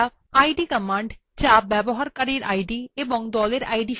id command যা user id এবং group id সম্পর্কে তথ্য দেয়